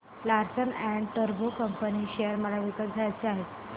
Larsen and टुर्बो limited share मला विकत घ्यायचे आहेत